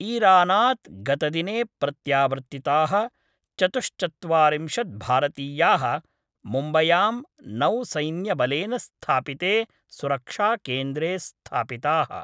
ईरानात् गतदिने प्रत्यावर्तिताः चतुश्चत्वारिंशत् भारतीयाः मुम्बयां नौसैन्यबलेन स्थापिते सुरक्षाकेन्द्रे स्थापिताः।